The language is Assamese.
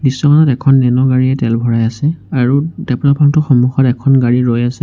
দৃশ্যখনত এখন নেনো গাড়ীয়ে তেল ভৰাই আছে আৰু পাম্প টোৰ সমুখত এখন গাড়ী ৰৈ আছে।